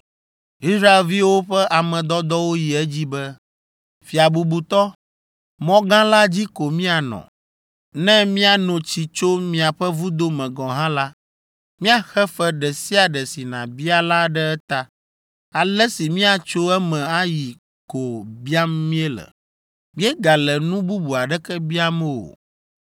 Israelviwo ƒe ame dɔdɔwo yi edzi be, “Fia bubutɔ, mɔ gã la dzi ko míanɔ. Ne míano tsi tso miaƒe vudo me gɔ̃ hã la, míaxe fe ɖe sia ɖe si nàbia la ɖe eta. Ale si míatso eme ayi ko biam míele; míegale nu bubu aɖeke biam o.”